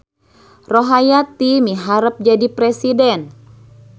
Rohayati miharep jadi presiden